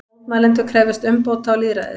Mótmælendur krefjast umbóta og lýðræðis